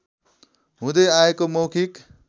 हुँदै आएको मौखिक